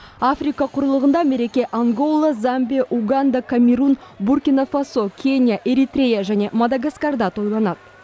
африка құрлығында мереке ангола замбия уганда камерун буркина фасо кения эритрея және мадагаскарда тойланады